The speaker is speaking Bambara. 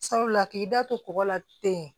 Sabula k'i da to kɔgɔ la ten